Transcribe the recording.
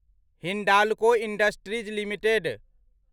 Hindalco industries limited